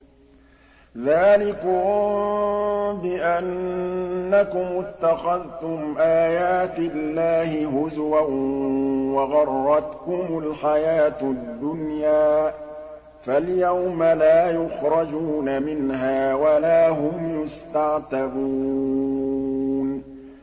ذَٰلِكُم بِأَنَّكُمُ اتَّخَذْتُمْ آيَاتِ اللَّهِ هُزُوًا وَغَرَّتْكُمُ الْحَيَاةُ الدُّنْيَا ۚ فَالْيَوْمَ لَا يُخْرَجُونَ مِنْهَا وَلَا هُمْ يُسْتَعْتَبُونَ